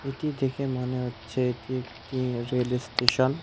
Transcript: এটি দেখে মনে হচ্ছে এটি একটি রেল এস্টেশন স্টেশন ।